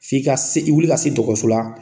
F'i ka se wuli ka se dɔgɔso la